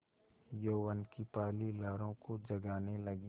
यौवन की पहली लहरों को जगाने लगी